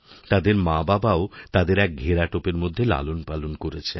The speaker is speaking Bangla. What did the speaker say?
তাদের মাবাবাও তাদের একঘেরাটোপের মধ্যে লালনপালন করেছেন